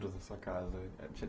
sua casa.